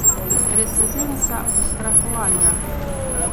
Precedensa ustrahovanja.